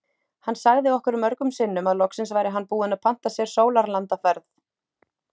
Hann sagði okkur mörgum sinnum að loksins væri hann búinn að panta sér sólarlandaferð.